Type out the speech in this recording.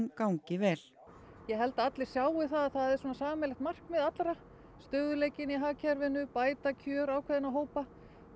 gangi vel ég held að allir sjái það að það er sameiginlegt markmið allra stöðugleikinn í hagkerfinu bæta kjör ákveðinna hópa